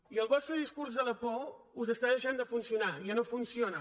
i el vostre discurs de la por us està deixant de funcionar ja no funciona